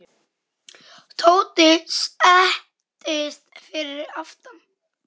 Tóti settist fyrir aftan.